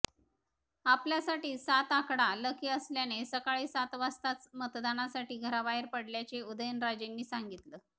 आपल्यासाठी सात आकडा लकी असल्याने सकाळी सात वाजताच मतदानासाठी घराबाहेर पडल्याचे उदयनराजेंनी सांगितलं